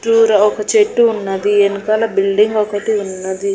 తూర ఒక చెట్టు ఉన్నది ఎనకాల బిల్డింగ్ ఒకటి ఉన్నది.